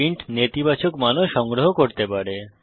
int নেতিবাচক মানও সংগ্রহ করতে পারে